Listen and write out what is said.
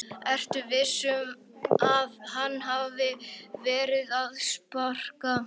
Ertu viss um að hann hafi verið að sparka.